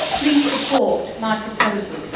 Please support my proposals.